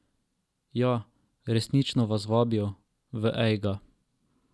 Ja, resnično vas vabijo, v Ejga.